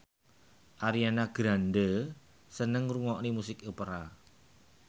Ariana Grande seneng ngrungokne musik opera